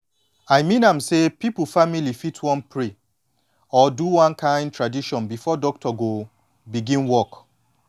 i mean am say people family fit wan pray or do one kin tradition before doctor go begin work